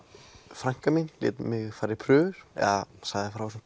frænka mín lét mig fara í prufur eða sagði frá þessum